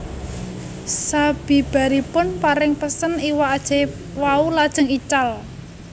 Sabibaripun paring pesen iwak ajaib wau lajeng ical